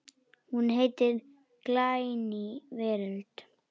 Hún heitir Glæný veröld.